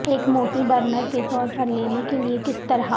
ایک موٹی برنر کے طور پر لینے کے لئے کس طرح